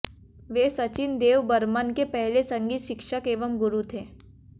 वे सचिन देव बर्मन के पहले संगीत शिक्षक एवं गुरु थे